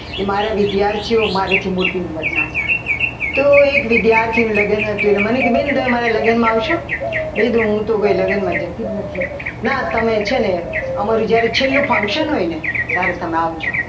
કે મારા વિદ્યાર્થીઓ મારાથી મોટી ઉંમરના હતા તો એક વિદ્યાર્થીનું લગ્ન હતું અને મને કીધું કે મારા લગ્નમાં આવશો એટલે મેં કીધું કે હું તો લગ્નમાં જતી જ નથી ના તમે છે ને અમારું જ્યારે છેલ્લું ફંક્શન હોય ને ત્યારે તમે આવજો.